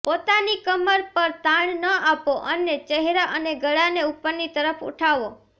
પોતાની કમર પર તાણ ન આપો અને ચહેરા અને ગળાને ઉપરની તરફ ઉઠાવો